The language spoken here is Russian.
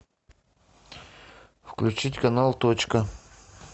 включить канал точка